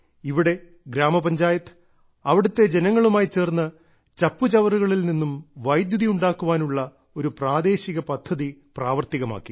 ഇവിടെ ഗ്രാമപഞ്ചായത്ത് അവിടത്തെ ജനങ്ങളുമായി ചേർന്ന് ചപ്പുചവറുകളിൽ നിന്നും വൈദ്യുതി ഉണ്ടാകുവാനുള്ള ഒരു പ്രാദേശിക പദ്ധതി പ്രാവർത്തികമാക്കി